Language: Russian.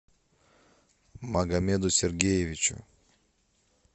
магомеду сергеевичу